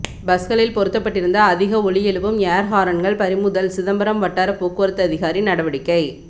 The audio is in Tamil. பஸ்களில் பொருத்தப்பட்டிருந்த அதிக ஒலி எழுப்பும் ஏர்ஹாரன்கள் பறிமுதல் சிதம்பரம் வட்டார போக்குவரத்து அதிகாரி நடவடிக்கை